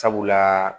Sabula